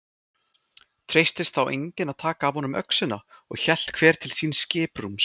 Treystist þá enginn að taka af honum öxina og hélt hver til síns skipsrúms.